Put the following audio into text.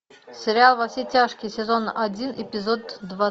сериал во все тяжкие сезон один эпизод два